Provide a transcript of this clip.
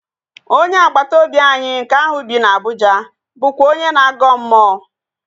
Onye agbata obi anyị nke ahụ bi na Abụja bụkwa onye na-agọ mmụọ